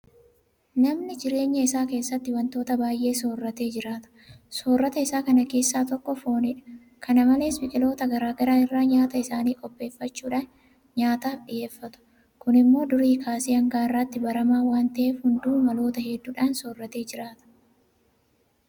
Namni jireenya isaa keessatti waantota baay'ee soorratee jiraata. Soorrata isaa kana keessaa tokko foonidha. Kana malees biqiltoota garaa garaa irraa nyaata isaanii qopheeffachuudhaan nyaataaf dhiyeeffatu. Kun immoo durii kaasee hanga har'aatti baramaa waanta ta'eef hunduu maloota hedduudhaan soorratee jiraata.